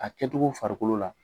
A kɛ cogo farikolo la.